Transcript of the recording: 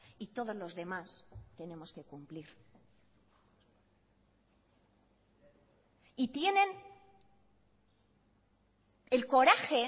y todos los demás tenemos que cumplir y tienen el coraje